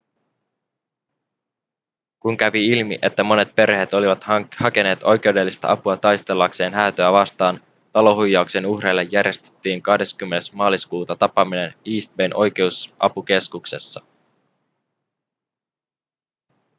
kun kävi ilmi että monet perheet olivat hakeneet oikeudellista apua taistellakseen häätöä vastaan talohuijauksen uhreille järjestettiin 20 maaliskuuta tapaaminen east bayn oikeusapukeskuksessa